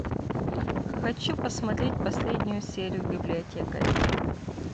хочу посмотреть последнюю серию библиотекарей